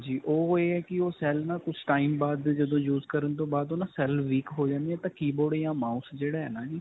ਹਾਂਜੀ. ਉਹ ਇਹ ਹੈ ਕਿ ਉਹ cell ਨਾ ਕੁਝ time ਬਾਦ ਜਦੋ use ਕਰਨ ਤੋਂ ਬਾਦ ਨਾ cell weak ਹੋ ਜਾਂਦੇ ਨੇ ਤਾਂ keyboard ਜਾਂ mouse ਜਿਹੜਾ ਹੈ ਨਾ ਜੀ.